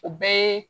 O bɛɛ ye